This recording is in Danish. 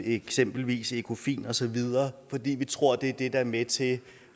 eksempelvis ecofin osv fordi vi tror det er det der er med til